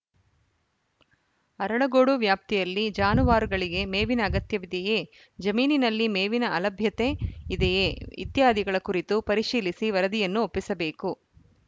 ಅರಳಗೋಡು ವ್ಯಾಪ್ತಿಯಲ್ಲಿ ಜಾನುವಾರುಗಳಿಗೆ ಮೇವಿನ ಅಗತ್ಯವಿದೆಯೇ ಜಮೀನಿನಲ್ಲಿ ಮೇವಿನ ಅಲಭ್ಯತೆ ಇದೆಯೇ ಇತ್ಯಾದಿಗಳ ಕುರಿತು ಪರಿಶೀಲಿಸಿ ವರದಿಯನ್ನು ಒಪ್ಪಿಸಬೇಕು